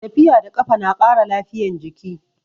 Tafiya da kafa na ƙara lafiyan jiki